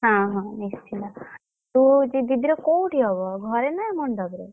ହଁ ହଁ ନିଶ୍ଚିନ୍ତ ତୁ ଦିଦି ର କୋଉଠି ହବ ଘରେ ନା ମଣ୍ଡପ ରେ?